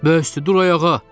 Böyüstü, dur ayağa!